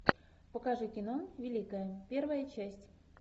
покажи кино великая первая часть